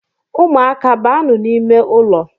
Umuaka banu n’ime ụlọ